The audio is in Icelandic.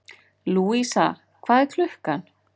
Lúísa, hvað er klukkan?